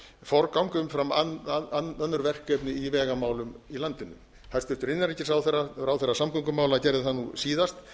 forgang umfram önnur verkefni i vegamálum í landinu hæstvirtur innanríkisráðherra ráðherra samgöngumála gerði það nú